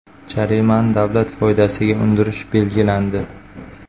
Jarimani davlat foydasiga undirish belgilandi.